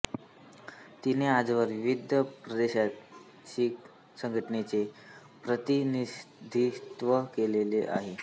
तिने आजवर विविध प्रादेशिक संघांचे प्रतिनिधित्व केलेले आहे